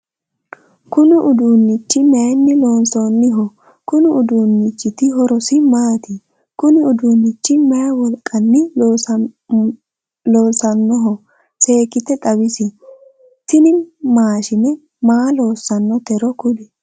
Kunni uduunichi mayinni loonsoonniho? Konni uduunnichiti horosi maati? Kunni uduunichi mayi wolqanni loosanohoro seekite xawisi? Tinni maashine maa loosanotero kuli?